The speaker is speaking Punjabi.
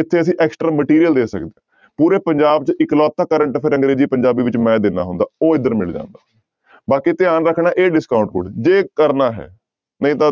ਇੱਥੇ ਅਸੀਂ extra material ਦੇ ਸਕਦੇ, ਪੂਰੇ ਪੰਜਾਬ ਚ ਇੱਕਲੋਤਾ current affair ਅੰਗਰੇਜ਼ੀ ਪੰਜਾਬੀ ਵਿੱਚ ਮੈਂ ਦਿੰਦਾ ਹੁੰਦਾ ਉਹ ਇੱਧਰ ਮਿਲ ਜਾਂਦਾ, ਬਾਕੀ ਧਿਆਨ ਰੱਖਣਾ ਹੈ ਇਹ discount code ਜੇ ਕਰਨਾ ਹੈ ਨਹੀਂ ਤਾਂ